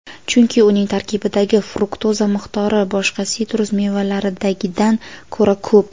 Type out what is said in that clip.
chunki uning tarkibidagi fruktoza miqdori boshqa sitrus mevalaridagidan ko‘ra ko‘p.